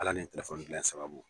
Ala ni tɛlefoni dilan sababu.